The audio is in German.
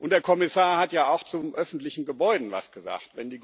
Der Kommissar hat ja auch zu öffentlichen Gebäuden etwas gesagt.